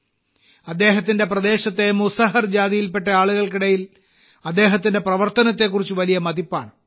അദ്ദേഹത്തിന്റെ പ്രദേശത്തെ മുസഹർ ജാതിയിൽപ്പെട്ട ആളുകൾക്കിടയിൽ അദ്ദേഹത്തിന്റെ പ്രവർത്തനത്തെക്കുറിച്ച് വലിയ മതിപ്പാണ്